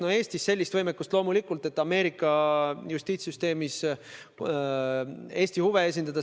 Loomulikult Eestis sellist võimekust ei ole, et Ameerika Ühendriikide justiitssüsteemis Eesti huve esindada.